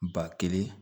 Ba kelen